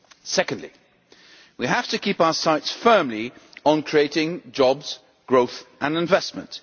Secondly, we have to keep our sights firmly on creating jobs, growth and investment.